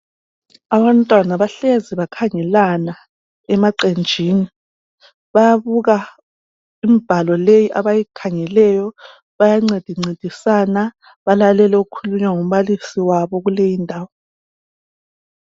Abantwana bahlezi bakhangelana emaqenjini bayabuka imibhalo leyi abayikhangeleyo bayancedincedisana. Balalele okukhulunywa ngumbalisi wabo kuleyindawo.